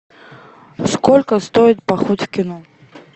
сколько стоит поход в кино